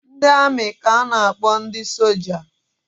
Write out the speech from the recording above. Ndị amị ka a na-akpọ ndị soja